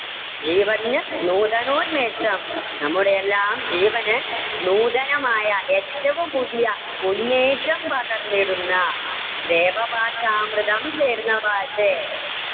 ജീവന്ന് നൂതനോന്മേഷം നമ്മുടെ എല്ലാം ജീവന് നൂതനമായ ഏറ്റവും പുതിയ ഉന്മേഷം പകർന്നിടുന്ന ദേവഭാഷാമൃതം ചേർന്ന ഭാഷേ.